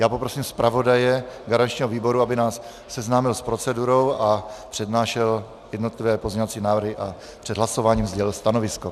Já poprosím zpravodaje garančního výboru, aby nás seznámil s procedurou a přednášel jednotlivé pozměňovací návrhy a před hlasováním sdělil stanovisko.